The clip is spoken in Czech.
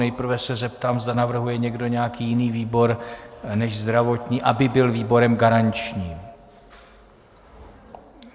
Nejprve se zeptám, zda navrhuje někdo nějaký jiný výbor než zdravotní, aby byl výborem garančním.